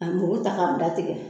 Ka muru ta k' a bɛɛ tigɛ